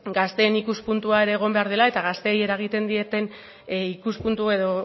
gazteen ikuspuntua egon behar dela eta gaztei eregiten dieten ikuspuntu edo